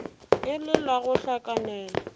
e le la go hlakanela